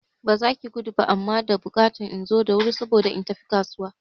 Ba zaki gudu ba amma da bukatan inzo da wuri saboda in tafi kasuwa